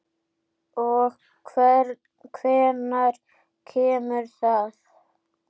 Og hvenær kemur það?